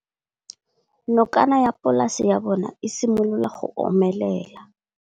Nokana ya polase ya bona, e simolola go omelela.